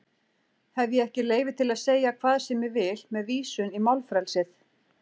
Hef ég ekki leyfi til að segja hvað sem ég vil með vísun í málfrelsið?